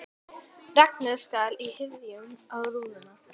Regnið skall í hryðjum á rúðuna.